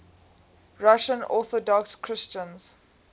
russian orthodox christians